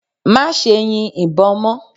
Má ṣe yin ìbọn mọ́!